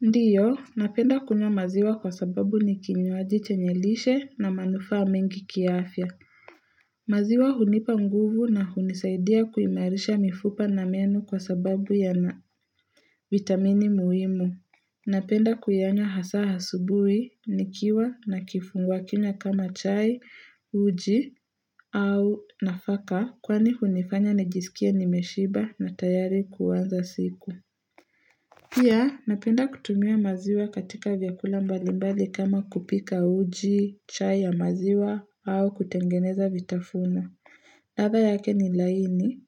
Ndio, napenda kunywa maziwa kwa sababu ni kinywaji chenye lishe na manufaa mengi kiafya. Maziwa hunipa nguvu na hunisaidia kuimarisha mifupa na meno kwa sababu yana vitamini muhimu. Napenda kuyanywa hasa asubuhi, nikiwa na kifungua kinywa kama chai, uji au nafaka kwani hunifanya nijiskie nimeshiba na tayari kuanza siku. Pia, napenda kutumia maziwa katika vyakula mbalimbali kama kupika uji, chai ya maziwa au kutengeneza vitafuna. Ladha yake ni laini,